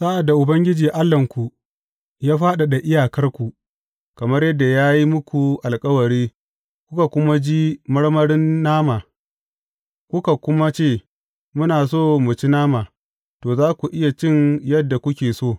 Sa’ad da Ubangiji Allahnku ya fadada iyakarku kamar yadda ya yi muku alkawari, kuka kuma ji marmarin nama, kuka kuma ce, Muna so mu ci nama, to, za ku iya cin yadda kuke so.